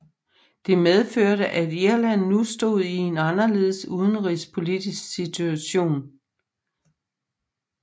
Det medførte at Irland nu stod i en anderledes udenrigspolitisk situation